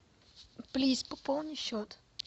плиз пополни счет